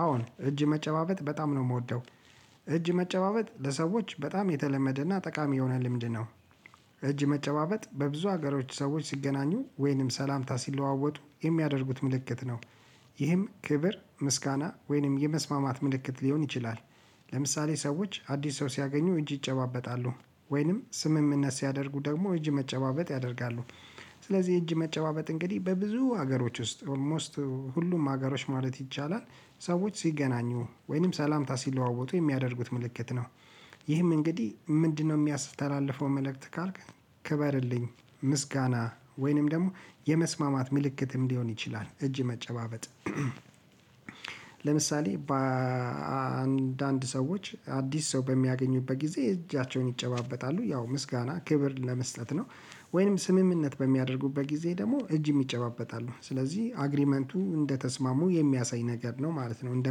አወ እጅ መጨባበጥ በጣም ነው የምወደው እጅ መጨባበጥ ለሰዎች በጣም የተለመደና ጠቃሚ የሆነ ልምድ ነው። እጅ መጨባበጥ በብዙ ሀገሮች ሰዎች ሲገናኙ ወይንም ሰላምታ ሲለዋወጡ የሚያደርጉት ምልክት ነው። ይህም ክብር ምስጋና ወይንም የመስማማት ምልክት ሊሆን ይችላል። ለምሳሌ ሰዎች አዲስ ሰው ሲያገኙ እጅ ይጨባበጣሉ ወይንም ስምምነት ሲያደርጉ ደግሞ እጅ መጨባበጥ ያደርጋሉ። ስለዚህ እጅ መጨባበጥ እንግዲህ በብዙ ሀገሮች ውስጥ ኦልሞስት ሁሉም ሀገሮች ማለት ይቻላል ሰዎች ሲገናኙ ወይንም ሰላምታ ሲለዋወጡ የሚያደርጉት ምልክት ነው። ይህም እንግዲህ ምንድነው የሚያስተላልፈው መልእክት ካልክ? ክበርልኝ ምስጋና ወይንም ደግሞ የመስማማት ምልክትም ሊሆን ይችላል እጅ መጨባበጥ። ለምሳሌ በአንዳንድ ሰዎች አዲስ ሰው በሚያገኙበት ጊዜ እጃቸውን ይጨባበጣሉ ያው ምስጋና ክብር ለመስጠት ነው። ወይም ስምምነት በሚያደርጉበት ጊዜ ደግሞ እጅ ይጨባበጣሉ ስለዚህ አግሪመንቱ እንደተስማሙ የሚያሳይ ነገር ነው ማለት ነው እንደ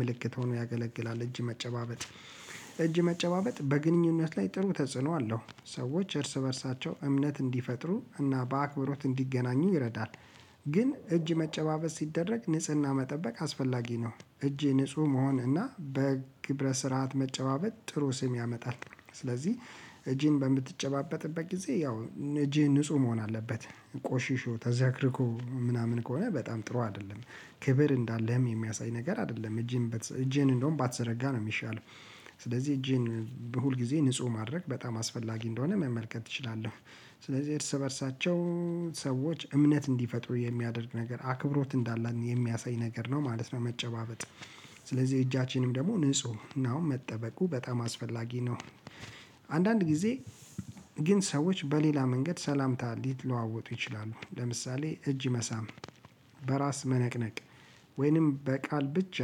ምልክት ሆኖ ያገለግላል እጅ መጨባበጥ። እጅ መጨባበጥ በግንኙነት ላይ ጥሩ ተጽዕኖ አለው ሰዎች እርስ በእርሳቸው እምነት እንዲፈጥሩ እና በአክብሮት እንዲገናኙ ይረዳል። ግን እጅ መጨባበጥ ሲደረግ ንጽህና መጠበቅ አስፈላጊ ነው። እጄ ንጹህ መሆን እና በግብረ ስርዓት መጨባበት ጥሩ ስም ያመጣል። ስለዚህ እጅን በምትጨባበጥበት ጊዜ ያው እጅህ ንጹህ መሆን አለበት። ቆሽሾ ተዘረክርኮ ምናምን ከሆነ በጣም ጥሩ አይደለም። ክብር እንዳለህም የሚያሳይ ነገር አይደለም። እጅህን እንደውም ባትዘረጋ ነው የሚሻለው። ስለዚህ እጅህን ሁል ጊዜ ንጹህ ማድረግ በጣም አስፈላጊ እንደሆነ መመልከት እችላለሁ። ስለዚህ እርስ በእርሳቸው ሰዎች እምነት እንዲፈጥሩ የሚያደርግ ነገር አክብሮት እንዳለ የሚያሳይ ነገር ነው ማለት ነው መጨባበጥ። ስለዚህ እጃችንም ደግሞ ንጽህናውን መጠበቁ በጣም አስፈላጊ ነው። አንዳንድ ጊዜ ግን ሰዎች በሌላ መንገድ ሰላምታ ሊለዋወጡ ይችላሉ። ለምሳሌ እጅ መሳም በራስ መነቅነቅ ወይንም በቃል ብቻ።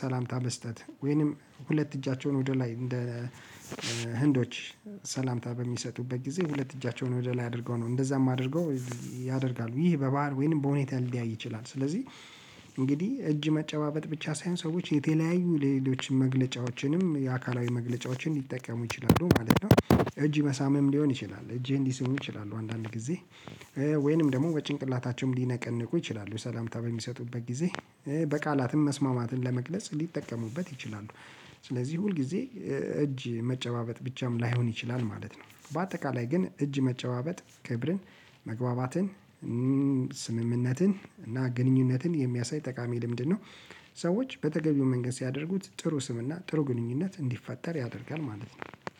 ሰላምታ መስጠት ወይንም ሁለት እጃቸውን ወደ ላይ እንደ ህንዶች ሰላምታ በሚሰጡበት ጊዜ ሁለት እጃቸውን ወደ ላይ አድርገው ነው እንደዛም አድርገው። ያደርጋሉ ይህ በባህር ወይንም በሁኔታ ሊለያይ ይችላል። ስለዚህ እንግዲህ እጅ መጨባበጥ ብቻ ሳይሆን ሰዎች የተለያዩ ሌሎች መግለጫዎችንም የአካላዊ መግለጫዎችንም ሊጠቀሙ ይችላሉ ማለት ነው። እጅ መሳምም ሊሆን ይችላል እጅህን ሊስሙህ ይችላሉ አንዳንድ ጊዜ። ወይንም ደግሞ በጭንቅላታቸውም ሊነቀንቁ ይችላሉ ሰላምታ በሚሰጡበት ጊዜ። በቃላትም መስማማትን ለመግለጽ ሊጠቀሙበት ይችላሉ። ስለዚህ ሁል ጊዜ እጅ መጨባበጥ ብቻም ላይሆን ይችላል ማለት ነው። በአጠቃላይ ግን እጅ መጨባበጥ ክብርን መግባባትን ስምምነትን እና ግንኙነትን የሚያሳይ ጠቃሚ ልምድ ነው። ሰዎች በተገቢው መንገድ ሲያደርጉት ጥሩ ስም እና ጥሩ ግንኙነት እንዲፈጠር ያደርጋል ማለት ነው።